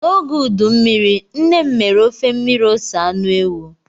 N'oge udu mmiri, nne m mere ofe mmiri ose anụ ewu.